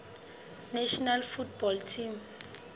national football team